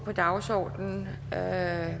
at